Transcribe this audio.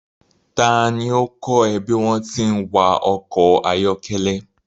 Ta ni ó kọ́ ẹ bí wọ́n ti ń wa ọkọ̀ ayọ́kẹ́lẹ́?